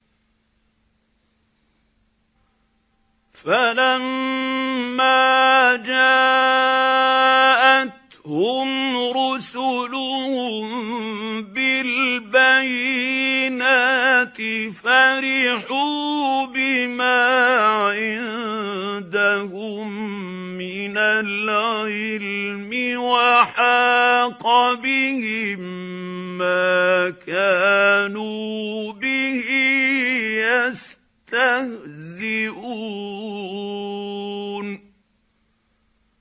فَلَمَّا جَاءَتْهُمْ رُسُلُهُم بِالْبَيِّنَاتِ فَرِحُوا بِمَا عِندَهُم مِّنَ الْعِلْمِ وَحَاقَ بِهِم مَّا كَانُوا بِهِ يَسْتَهْزِئُونَ